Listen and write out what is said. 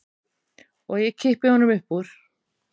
Og ég kippi honum upp úr.